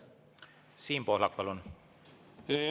Siim Pohlak, palun!